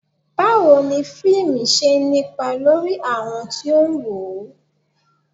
Báwo ni fíìmù ṣe ń nípa lórí àwọn tí ó ń wò ó